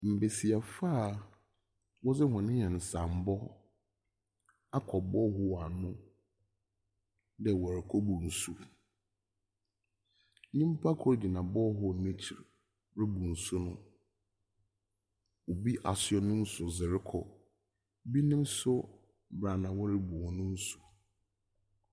Mbesiafo a wɔdze hɔn nyansambɔ akɔbɔ ho wɔ ano dɛ wɔrekobu nsu. Nnyimpa de gyina ball hole n'akyir rebu nsu no. Obi asua ne nsu dze rekɔ.